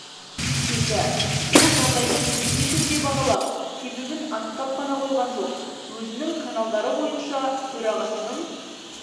келді ол жағдайды кәсіби түрде бағалап себебін анықтап қана қойған жоқ өзінің каналдары бойынша төрағасының